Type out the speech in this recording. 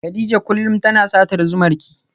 Kadija kullum tana satar zumarki.